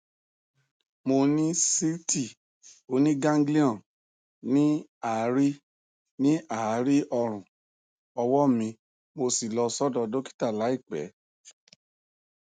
mo ní síìtì oníganglion ní àárí ní àárí ọrùn ọwọ mi mo sì lọ sọdọ dọkítà láìpẹ